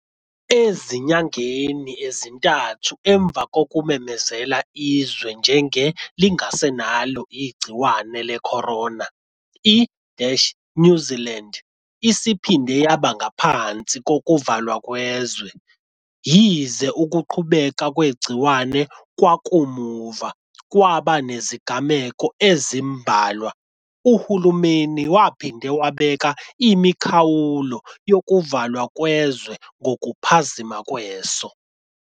Ezinyangeni ezintathu emva kokumemezela izwe njenge lingasenalo igciwane lecorona, i-New Zealand isiphinde yaba ngaphansi kokuvalwa kwezwe. Yize ukuqubuka kwegciwane kwakamuva kwaba nezigameko ezimbalwa, uhulumeni waphinde wabeka imikhawulo yokuvalwa kwezwe ngokuphazima kweso.